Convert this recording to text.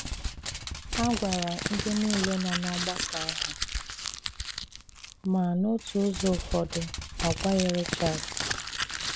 A gwàrà ndị niile nọ n'ọ̀gbàkọ àhụ, ma n’òtù ụzọ ụfọdụ a gwàghị Richard.